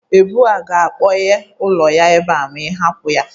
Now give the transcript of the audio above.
Ebụ a ga-akpọnye ọlụ ya ebe a ma ị hapụ ya